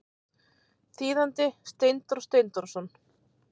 Þýðandi Steindór Steindórsson.